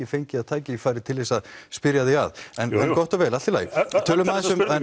fengið tækifæri til þess að spyrja þig að en gott og vel allt i lagi tölum aðeins um